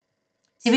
TV 2